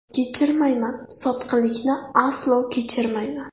Kechirmayman Sotqinlikni aslo kechirmayman.